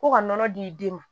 Ko ka nɔnɔ di i den ma